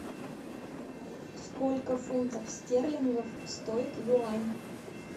сколько фунтов стерлингов стоит юань